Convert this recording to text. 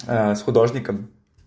с художником